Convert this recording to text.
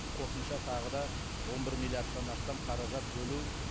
қосымша тағы да он бір миллиардтан астам қаражат бөлу